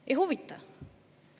Ei huvita!